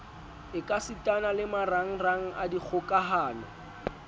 ekasitana le marangrang a dikgokahano